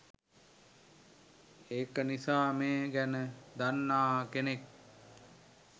ඒක නිසා මේ ගැන දන්නා කෙනෙක්